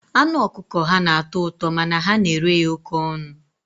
Anụ ọkụkọ ha na-atọ ụtọ, mana ha na-ere ya oké ọnụ.